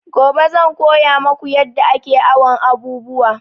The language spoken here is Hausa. Gobe zan koya maku yadda ake awon abubuwa